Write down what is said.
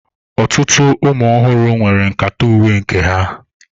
Ọtụtụ ụmụ ọhụrụ nwere nkata uwe nke ha.